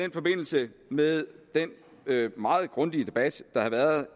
i forbindelse med den meget grundige debat der har været